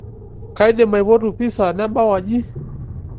kaidim aipotu pisa nabau aji